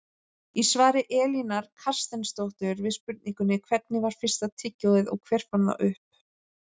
Í svari Elínar Carstensdóttur við spurningunni Hvernig var fyrsta tyggjóið og hver fann það upp?